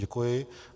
Děkuji.